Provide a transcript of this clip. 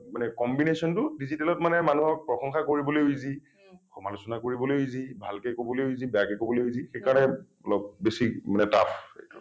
মানে combination টো digital ত মানে মানুহক প্ৰশংসা কৰিবলৈও easy সমালোচনা কৰিবলৈও easy ভালকৈ কবলৈও easy বেয়াকৈ কবলৈও easy সেই কাৰণে অলপ বেছি মানে tough এইটো